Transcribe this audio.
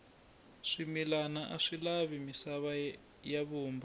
swimilana aswi lavi misava ya vumba